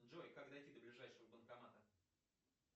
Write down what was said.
джой как дойти до ближайшего банкомата